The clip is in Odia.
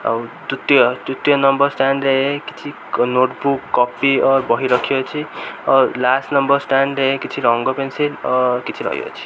ଆଉ ତୃତୀୟ ତୃତୀୟ ନମ୍ୱର ଷ୍ଟାଣ୍ଡ ରେ କିଛି ନୋଟ୍ ବୁକ୍ କପି ଅର୍ ବହି ରଖିଅଛି ଅର୍ ଲାଷ୍ଟ୍ ନମ୍ୱର ଷ୍ଟାଣ୍ଡ ରେ କିଛି ରଙ୍ଗ ପେନସିଲ ଅ କିଛି ରହିଅଛି।